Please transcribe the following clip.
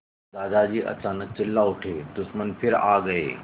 दादाजी अचानक चिल्ला उठे दुश्मन फिर आ गए